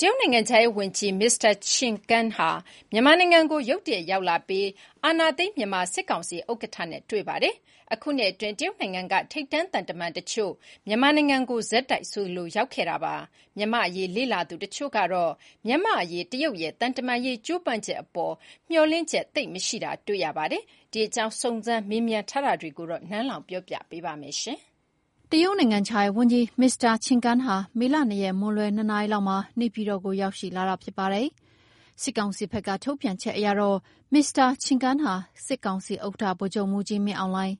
တရုတ်နိုင်ငံခြားရေးဝန်ကြီး မစ္စတာချင်ကန်းဟာ မြန်မာနိုင်ငံကို ရုတ်တရက်ရောက်လာပြီး အာဏာသိမ်းမြန်မာစစ်ကောင်စီဥက္ကဋ္ဌနဲ့တွေ့ဆုံခဲ့ပါတယ်။ အခုနှစ်အတွင်း တရုတ်နိုင်ငံက ထိပ်တန်းသံတမန်တချို့ မြန်မာနိုင်ငံကို ဆက်တိုက်ဆိုသလို လာရောက်ခဲ့ကြပေမဲ့ မြန်မာ့အရေးလေ့လာသူတချို့ကတော့ မြန်မာ့အရေးတရုတ်ရဲ့ သံတမန်ရေးကြိုးပမ်းချက်အပေါ် မျှော်လင့်ချက်သိပ်မရှိတာတွေ့ရပါတယ်။ ဒီအကြောင်း စုံစမ်းမေးမြန်းထားတာတွေကို နန်းလောဝ်က တင်ပြပေးထားပါတယ်။ တရုတ်နိုင်ငံခြားရေးဝန်ကြီး မစ္စတာချင်ကန်းဟာ မေလ ၂ ရက် မွန်းလွဲ ၂ နာရီခန့် နေပြည်တော်ကို ရောက်ရှိလာတာဖြစ်ပါတယ်။ စစ်ကောင်စီဘက်ကထုတ်ပြန်ချက်အရတော့ မစ္စတာချင်ကန်းဟာ စစ်ကောင်စီဥက္ကဋ္ဌ ဗိုလ်ချုပ်မှူးကြီးမင်းအောင်လှိုင်၊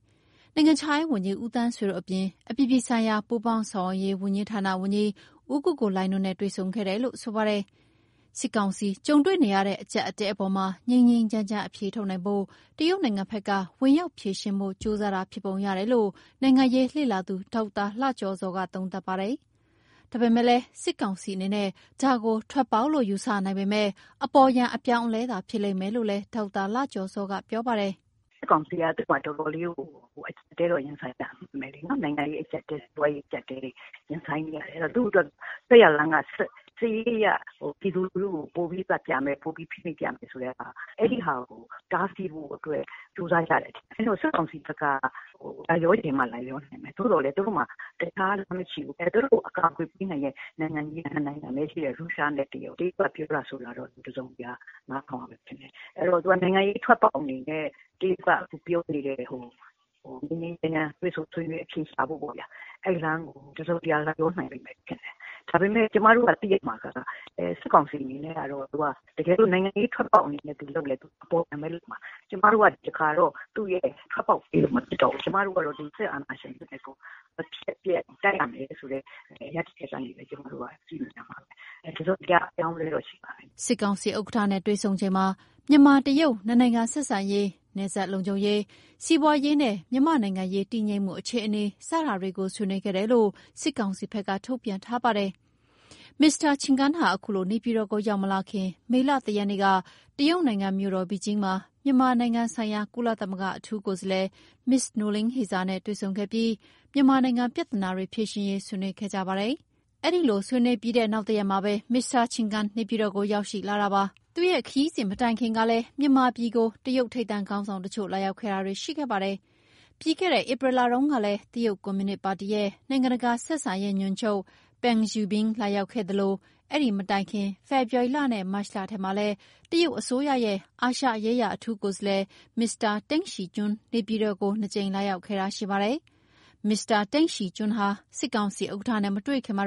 နိုင်ငံခြားရေးဝန်ကြီး ဦးသန်းဆွေတို့အပြင် အပြည်ပြည်ဆိုင်ရာ ပူးပေါင်းဆောင်ရွက်ရေးဝန်ကြီးဌာနက ဦးကိုကိုလှိုင်တို့နဲ့ တွေ့ဆုံခဲ့တယ်လို့ဆိုပါတယ်။ စစ်ကောင်စီကြုံတွေ့နေရတဲ့ အကျပ်အတည်းအပေါ်မှာ ငြိမ်းငြိမ်းချမ်းချမ်းအဖြေထုတ်နိုင်ဖို့ တရုတ်နိုင်ငံဘက်က ဝင်ရောက်ဖြေရှင်းဖို့ ကြိုးစားတာဖြစ်ပုံရတယ်လို့ နိုင်ငံရေးလေ့လာသူ ဒေါက်တာလှကျော်ဇောက သုံးသပ်ပါတယ်။ စစ်ကောင်စီအနေနဲ့ ဒါကို ထွက်ပေါက်လို့ယူဆနိုင်ပေမဲ့ အပေါ်ယံ အပြောင်းအလဲသာဖြစ်နိုင်လိမ့်မယ်လို့လည်း ဒေါက်တာလှကျော်ဇောက ပြောပါတယ်။ "စစ်ကောင်စီက တော်တော်လေးကို အကျပ်အတည်းတော့ ရင်ဆိုင်နေရတာဖြစ်မယ်လေ..နော်။ နိုင်ငံရေးအကျပ်အတည်း၊ စီးပွါးရေးအကျပ်အတည်းတွေ ရင်ဆိုင်နေရတယ်။ အဲဒီတော့ သူ့အတွက် ထွက်ရာလမ်းက စစ်ရေးအရ ပြည်သူလူထုကို ပိုပြီးသတ်ပြမယ်၊ ပိုပြီးဖိနှိပ်ပြမယ်ဆိုတဲ့ဟာ၊ အဲဒီဟာကိုတားဆီးဖို့အတွက် ကြိုးစားကြတယ်ထင်တယ်။ အဲဒီတော့ စစ်ကောင်စီဘက်က လိုက်လျောချင်မှလိုက်လျောနိုင်မယ်။ သို့သော်လည်း သူတို့မှာ......လမ်းမရှိဘူး။ သူတို့ကိုအကာကွယ်ပေးနိုင်တဲ့ နိုင်ငံကြီးက နှစ်နိုင်ငံပဲရှိတယ်။ ရုရှားနဲ့တရုတ်။ တရုတ်ကပြောတာဆိုတာတော့ တစုံတရာ နားထောင်ရမယ်ထင်တယ်။ အဲဒီတော့ နိုင်ငံရေးထွက်ပေါက်အနေနဲ့ တရုတ်က သူပြောနေတဲ့ ငြိမ်းငြိမ်းချမ်းချမ်း တွေ့ဆုံဆွေးနွေး အဖြေရှာဖို့ပေ့ါဗျာ၊ အဲဒီလမ်းကို တစုံတရာလိုက်လျောနိုင်မယ်ထင်တယ်။ ဒါပေမဲ့ ကျမတို့သိရမှာက စစ်ကောင်စီအနေနဲ့ကတော့ သူက တကယ်လို့ နိုင်ငံရေးထွက်ပေါက်အနေနဲ့သူလုပ်လည်း အပေါ်ယံပဲလုပ်မှာ၊ ကျမတို့က ဒီတခါတော့ သူ့ရဲ့ထွက်ပေါက်ပေးလို့မဖြစ်တော့ဘူး။ ကျမတို့က စစ်အာဏာရှင်စနစ်ကို မဖြစ်မနေတိုက်ရမယ်ဆိုတဲ့ ရပ်တည်ချက်ကနေပဲ ကျမတို့က ကြည့်နေရမှာပဲ။ တစုံတရာ အပြောင်းအလဲတော့ ရှိမှာပဲ။" စစ်ကောင်စီဥက္ကဋ္ဌနဲ့တွေ့ဆုံချိန်မှာ မြန်မာ-တရုတ် နှစ်နိုင်ငံဆက်ဆံရေး၊ နယ်စပ်လုံခြုံရေး၊ စီးပွားရေးနဲ့ မြန်မာ့နိုင်ငံရေးတည်ငြိမ်မှုအခြေအနေစတာတွေကို ဆွေးနွေးခဲ့တယ်လို့ စစ်ကောင်စီဘက်က ထုတ်ပြန်ထားပါတယ်။ မစ္စတာချင်ကန်းဟာ အခုလို နေပြည်တော်ကိုရောက်မလာခင် မေလ ၁ ရက်နေ့က တရုတ်နိုင်ငံ မြို့တော်ဘေကျင်းမှာ မြန်မာနိုင်ငံဆိုင်ရာ ကုလသမဂ္ဂ အထူးကိုယ်စားလှယ် မစ္စနိုလင်းဟေဇာနဲ့ တွေ့ဆုံပြီး မြန်မာနိုင်ငံပြဿနာတွေ ဖြေရှင်းရေး ဆွေးနွေးခဲ့ကြပါတယ်။ အဲဒီလိုဆွေးနွေးပြီးနောက်တရက်မှာပဲ မစ္စတာ ချင်ကန်း နေပြည်တော်ကို ရောက်လာတာပါ။ သူ့ခရီးစဉ်မတိုင်ခင်ကလည်း မြန်မာပြည်ကို တရုတ်ထိပ်တန်းခေါင်းဆောင်တချို့ လာရောက်ခဲ့ပါတယ်။ ပြီးခဲ့တဲ့ဧပြီလတုန်းကလည်း တရုတ်ကွန်မြူနစ်ပါတီရဲ့ နိုင်ငံတကာဆက်ဆံရေးညွှန်ချုပ် Peng Xiubin လာရောက်ခဲ့သလို ဒီမတိုင်ခင် ဖေဖော်ဝါရီနဲ့ မတ်လထဲမှာလည်း တရုတ်အစိုးရရဲ့ အာရှရေးရာအထူးကိုယ်စားလှယ်မစ္စတာတိန့်ရှီကျွန်း နေပြည်တော်ကို နှစ်ကြိမ်လာရောက်ခဲ့ပါတယ်။ မစ္စတာတိန့်ရှီကျွန်းဟာ စစ်ကောင်စီဥက္ကဋ္ဌနဲ့မတွေ့ခင်မှာ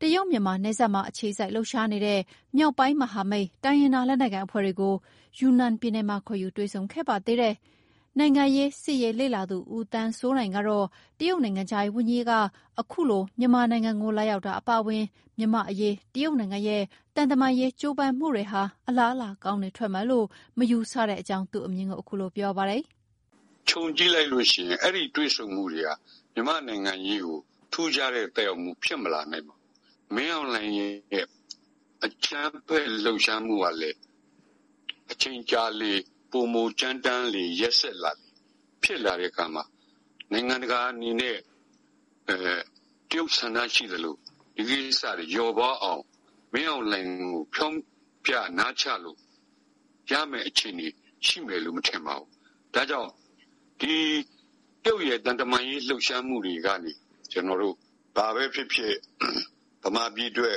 တရုတ်-မြန်မာနယ်စပ်မှာ အခြေစိုက်လှုပ်ရှားနေတဲ့ မြောက်ပိုင်းမဟာမိတ် တိုင်းရင်းသားလက်နက်ကိုင်အဖွဲ့တွေကို ယူနန်ပြည်နယ်မှာ ခေါ်ယူတွေ့ဆုံခဲ့ပါသေးတယ်။ နိုင်ငံရေးစစ်ရေးလေ့လာသူ ဦးသန်းစိုးနိုင်ကတော့ တရုတ်နိုင်ငံခြားရေးဝန်ကြီးအခုလို မြန်မာနိုင်ငံကို လာရောက်တာအပါအဝင် မြန်မာအရေး တရုတ်နိုင်ငံရဲ့ သံတမန်ရေးကြိုးပမ်းမှုတွေဟာ အလားအလာကောင်းတွေထွက်မယ်လို့ မယူဆတဲ့အကြောင်း သူ့အမြင် ပြောပါတယ်။ "ခြုံကြည့်လိုက်လို့ရှိရင် အဲဒီတွေ့ဆုံမှုတွေက မြန်မာ့နိုင်ငံရေးကို ထူးခြားတဲ့သက်ရောက်မှု ဖြစ်မလာနိုင်ပါဘူး။ မင်းအေင်လှိုင်ရဲ့ အကြမ်းဖက်လှုပ်ရှားမှုကလည်း အချိန်ကြာလေ ပိုမိုကြမ်းတမ်းလေ ရက်စက်လာလေဖြစ်လာတဲ့အခါမှာ နိုင်ငံတကာအနေနဲ့ တရုတ်ဆန္ဒရှိသလို ဒီကိစ္စတွေ လျော့ပါးအောင် မင်းအောင်လှိုင်ကို ဖြောင့်ဖျနားချလို့ ရမယ့်အခြေအနေရှိမယ်လို့ မထင်ပါဘူး။ ဒါ့ကြောင့် ဒီတရုတ်ရဲ့ သံတမန်ရေးလှုပ်ရှားမှုတွေကနေ ကျနော်တို့ ဘာပဲဖြစ်ဖြစ် ဗမာပြည်အတွက်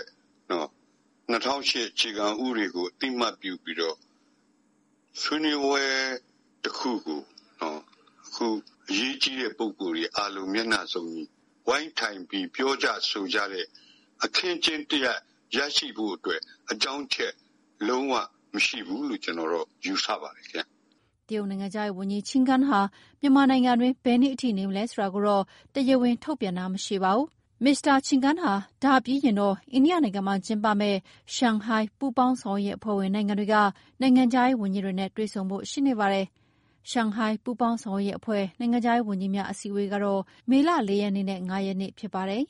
၂၀၀၈ အခြေခံဥပဒေကို အသိအမှတ်ပြုပြီးတော့ ဆွေးနွေးပွဲတခုကို အခုအရေးကြီးတဲ့ပုဂ္ဂိုလ်တွေအားလုံး မျက်နှာစုံညီ ဝိုင်းထိုင်ပြီး ပြောကြ ဆိုကြတဲ့ အခင်းအကျင်းတရပ်ရရှိဖို့အတွက် အကြောင်းအချက် လုံးဝမရှိဘူးလို့ ကျနော်တော့ ယူဆပါတယ်ခင်ဗျ။" တရုတ်နိုင်ငံခြားရေးဝန်ကြီး ချင်ကန်းဟာ မြန်မာနိုင်ငံတွင်း ဘယ်နေ့အထိ နေမလဲဆိုတာတော့ တရားဝင်ထုတ်ပြန်တာမရှိပါဘူး။ မစ္စတာချင်ကန်းဟာ ဒါပြီးရင်တော့ အိန္ဒိယနိုင်ငံမှာကျင်းပမယ့် ရှန်ဟိုင်းပူးပေါင်းဆောင်ရွက်ရေးအဖွဲ့ဝင်နိုင်ငံတွေက နိုင်ငံခြားရေးဝန်ကြီးတွေနဲ့လည်း တွေ့ဆုံဖို့ရှိနေပါတယ်။ ရှန်ဟိုင်းပူးပေါင်းဆောင်ရွက်ရေးအဖွဲ့ နိုင်ငံခြားရေးဝန်ကြီးများအစည်းအဝေးကတော့ မေလ ၄ ရက်နဲ့ ၅ ရက်ဖြစ်ပါတယ်။